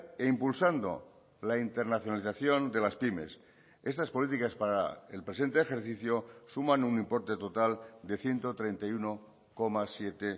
e impulsando la internacionalización de las pymes estas políticas para el presente ejercicio suman un importe total de ciento treinta y uno coma siete